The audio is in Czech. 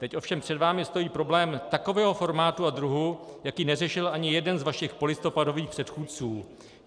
Teď ovšem před vámi stojí problém takového formátu a druhu, jaký neřešil ani jeden z vašich polistopadových předchůdců.